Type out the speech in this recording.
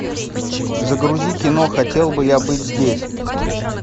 загрузи кино хотел бы я быть здесь